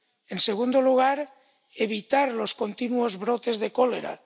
En segundo lugar, evitar los continuos brotes de cólera.